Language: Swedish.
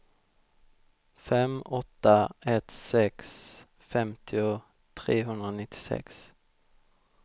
fem åtta ett sex femtio trehundranittiosex